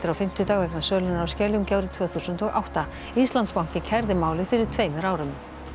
fimmtudag vegna sölunnar á Skeljungi árið tvö þúsund og átta Íslandsbanki kærði málið fyrir tveimur árum